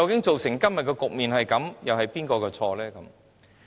造成今天的局面，究竟是誰的責任？